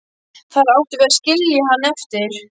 Þar áttum við að skilja hann eftir.